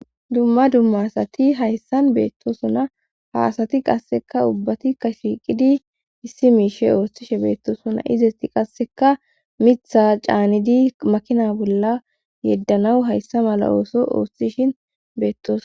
dumma dumma asati hayssan beettosona ha asati qasseka ubbatikka shiiqidi issi miishe oostishe beettosona izesti qasseka mitha caanidi makina bolla yeddanawu hayssa mala ooso oossishin beettos